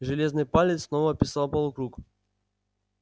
железный палец снова описал полукруг